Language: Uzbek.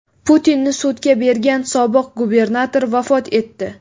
Putinni sudga bergan sobiq gubernator vafot etdi.